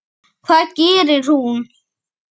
Helga: Hvað gerir hún?